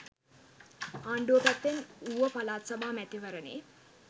ආණ්ඩුව පැත්තෙන් ඌව පළාත් සභා මැතිවරණයේ